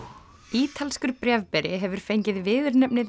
ítalskur bréfberi hefur fengið viðurnefnið